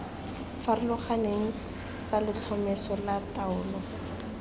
farologaneng tsa letlhomeso la taolo